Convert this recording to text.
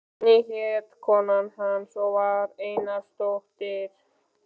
Oddný hét kona hans og var Einarsdóttir.